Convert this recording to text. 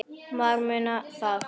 Það munar um það.